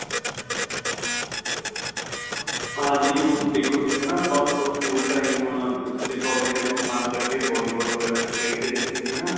ਹਾਂਜੀ ਹੁਣ ਦੇਖੋ ਤੁਸੀਂ ਹੈਨਾ ਆਪਾਂ ਸਕੂਲ time ਤੇ collage time ਆਪਾਂ ਇੱਕਠੇ ਬਾਲੀਬਾਲ ਵਗੇਰਾ ਖੇਡਦੇ ਰਹਿੰਦੇ ਸੀ ਨਾ